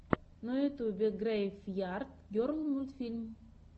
на ютубе грэйв ярд герл мультфильм